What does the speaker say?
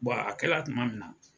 Bɔn a kɛla tuma min na.